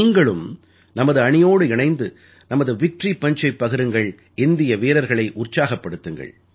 நீங்களும் நமது அணியோடு இணைந்து நமது விக்டரி Punchஐ பகிருங்கள் இந்திய வீரர்களை உற்சாகப்படுத்துங்கள்